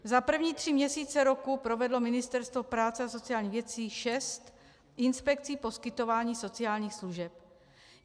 Za první tři měsíce roku provedlo Ministerstvo práce a sociálních věcí šest inspekcí poskytování sociálních služeb.